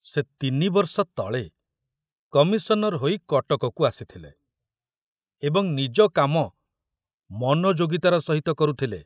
ସେ ତିନିବର୍ଷ ତଳେ କମିଶନର ହୋଇ କଟକକୁ ଆସିଥିଲେ ଏବଂ ନିଜ କାମ ମନୋଯୋଗିତାର ସହିତ କରୁଥିଲେ।